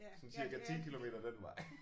Sådan cirka 10 kilometer den vej